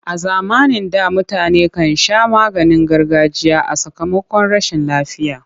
A zamanin da mutane kan sha maganin gargajiya a sakamakon rashin lafiya.